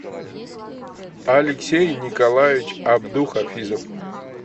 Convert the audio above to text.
алексей николаевич абдухафизов